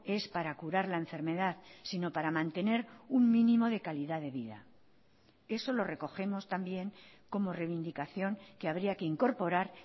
es para curar la enfermedad sino para mantener un mínimo de calidad de vida eso lo recogemos también como reivindicación que habría que incorporar